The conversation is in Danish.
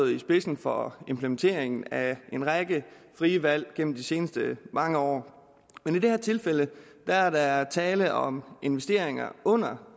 i spidsen for implementeringen af en række frie valg gennem de seneste mange år men i det her tilfælde er der tale om investeringer under